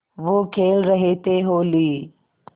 वो खेल रहे थे होली